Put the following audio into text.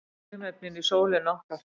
Frumefnin í sólinni okkar.